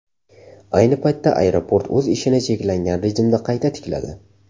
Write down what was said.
Ayni paytda aeroport o‘z ishini cheklangan rejimda qayta tikladi.